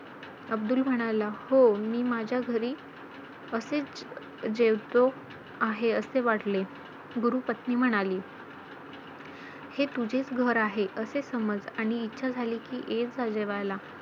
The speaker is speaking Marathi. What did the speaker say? अब्दुल म्हणाला, हो. मी माझ्या घरी असेच जेवतो आहे असे वाटले. गुरू पत्नी म्हणाली, हे तुझेच घर आहे असे समज आणि इच्छा झाली की येत जा जेवायला.